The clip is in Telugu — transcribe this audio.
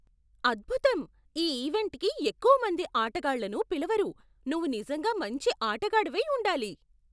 అద్భుతం! ఈ ఈవెంట్కి ఎక్కువ మంది ఆటగాళ్లను పిలవరు. నువ్వు నిజంగా మంచి ఆటగాడివై ఉండాలి!